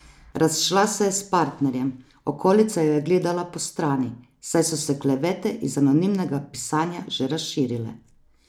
Razšla se je s partnerjem, okolica jo je gledala postrani, saj so se klevete iz anonimnega pisanja že razširile.